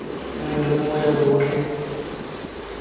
nngwe le nngwe ya botlhe